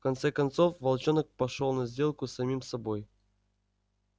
в конце концов волчонок пошёл на сделку с самим собой